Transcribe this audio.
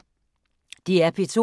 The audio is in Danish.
DR P2